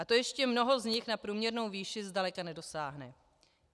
A to ještě mnoho z nich na průměrnou výši zdaleka nedosáhne.